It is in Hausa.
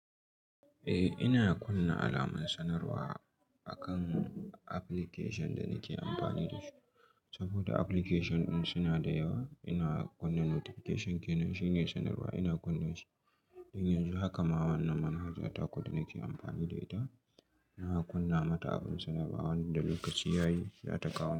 Eh ina kunna alamar sanarwa akan application da nake amfani da shi saboda application ɗin suna da yawa. Ina kunna notification kenan shi ne sanarwa ina kunna shi. To yannzu haka ma wannan manhaja taku da nake amfani da ita. Na kunna mata abin sanarwa wanda lokaci yayi za ta kawo.